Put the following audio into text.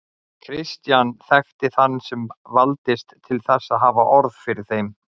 Christian þekkti þann sem valdist til þess að hafa orð fyrir þeim.